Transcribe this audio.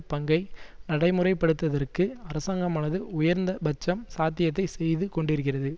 பங்கை நடைமுறைப்படுத்துதற்கு அரசாங்கமானது உயர்ந்த பட்சம் சாத்தியத்தை செய்து கொண்டிருக்கிறது